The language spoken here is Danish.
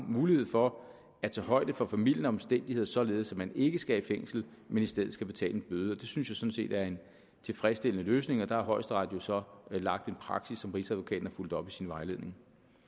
mulighed for at tage højde for formildende omstændigheder således at man ikke skal i fængsel men i stedet skal betale en bøde det synes jeg sådan set er en tilfredsstillende løsning og der har højesteret jo så lagt en praksis som rigsadvokaten har fulgt op i sin vejledning